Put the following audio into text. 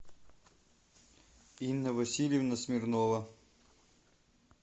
инна васильевна смирнова